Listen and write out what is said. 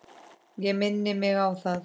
Ég minni mig á það.